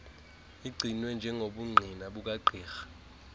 igcinwe njengobungqina bukagqirha